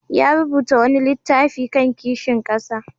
Ya rubuta wani littafi kan kishin ƙasa.